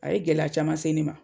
A ye gɛlɛya caman se ne ma.